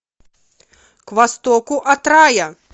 к востоку от рая